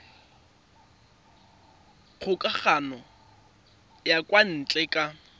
kgokagano ya kwa ntle ka